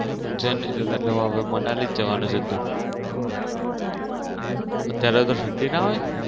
ઉજ્જૈન નઈ જતો એટલે મનાલી જ જવનો હતો અત્યરે તો ઠંડી ના હોય?